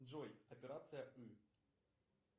джой операция ы